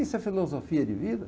Isso é filosofia de vida?